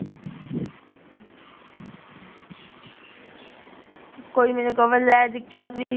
ਕੋਈ ਮੈਨੂੰ ਕਵੇ ਲੈ ਦਿਕਸਾ ਫ੍ਰੀ